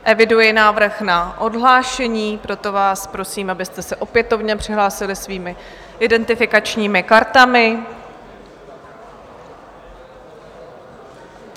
Eviduji návrh na odhlášení, proto vás prosím, abyste se opětovně přihlásili svými identifikačními kartami.